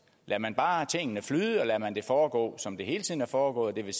lader man bare tingene flyde og lader man det foregå som det hele tiden har foregået det vil